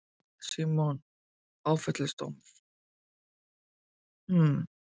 Símon: Áfellisdómur?